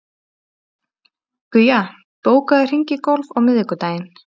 Guja, bókaðu hring í golf á miðvikudaginn.